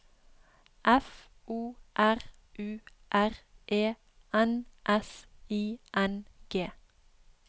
F O R U R E N S I N G